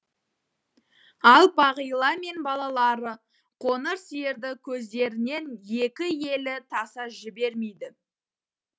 ал бағила мен балалары қоңыр сиырды көздерінен екі елі таса жібермейді